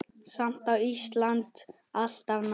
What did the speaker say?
Samt er Ísland alltaf nærri.